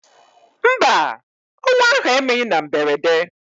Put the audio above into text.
Mba, ọnwụ ahụ emeghị na mberede.